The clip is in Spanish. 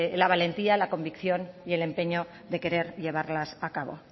la valentía la convicción y el empeño de querer llevarlas a cabo